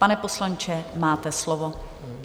Pane poslanče, máte slovo.